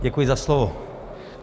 Děkuji za slovo.